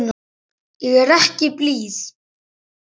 Ég er ekki blíð.